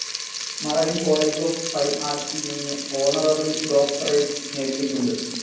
Marin college of fine ആർട്‌സിൽ നിന്ന് honorary doctorate നേടിയിട്ടുണ്ട്.